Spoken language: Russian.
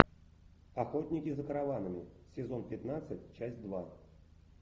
охотники за караванами сезон пятнадцать часть два